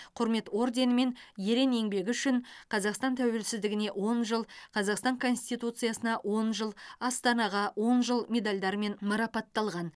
құрмет орденімен ерен еңбегі үшін қазақстан тәуелсіздігіне он жыл қазақстан конституциясына он жыл астанаға он жыл медальдарымен марапатталған